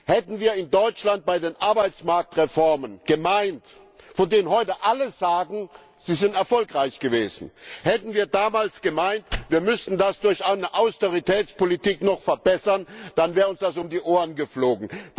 Hätten wir in Deutschland bei den Arbeitsmarktreformen, von denen heute alle sagen, sie sind erfolgreich gewesen, damals gemeint, wir müssten das durch eine Austeritätspolitik noch verbessern, dann wäre uns das um die Ohren geflogen.